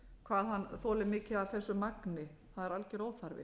hvað hann þolir mikið af þessu magni það er algjör óþarfi